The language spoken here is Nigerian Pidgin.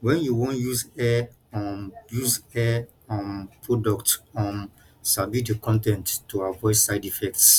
when you wan use hair um use hair um product um sabi di con ten t to avoid side effects